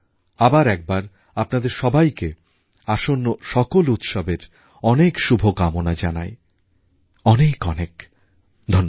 আবার একবার আপনাদের সবাইকে আসন্ন সকল উৎসবের অনেক শুভকামনা জানাই অনেক অনেক ধন্যবাদ